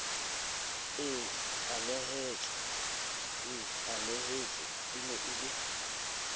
e ananetsweng e na le